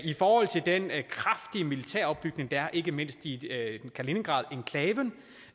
i forhold til den kraftige militære opbygning der er ikke mindst i kaliningradenklaven